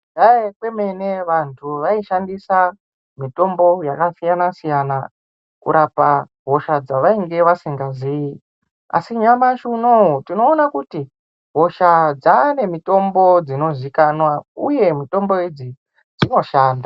Kudhaya kwemene vanhu vaishandisa mitombo yakasiyana siyana kurapa hosha dzevainga vasikaziyi asi nyamashi unowu tinoona kuti hosha dzaane mitombo dzinozikanwa uye mitombo idzi dzinoshanda.